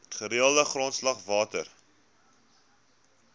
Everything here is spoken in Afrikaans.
gereelde grondslag water